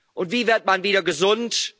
plötzlich. Und wie wird man wieder